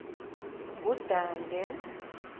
ngudange